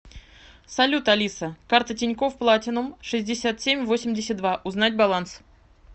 салют алиса карта тинькофф платинум шестьдесят семь восемьдесят два узнать баланс